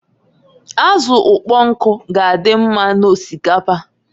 Azụ ụkpọnkụ g'adị mma n'osikapa.